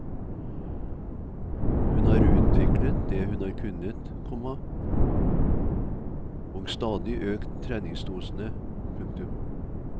Hun har utviklet det hun har kunnet, komma og stadig økt treningsdosene. punktum